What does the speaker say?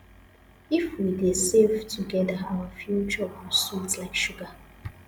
if we dey save together our future go sweet like sugar